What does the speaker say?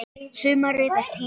Sumarið er tíminn.